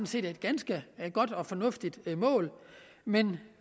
set et ganske godt og fornuftigt mål men